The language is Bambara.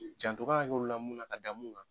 Janto k'an ka kɛ olu la munna ka da mun kan.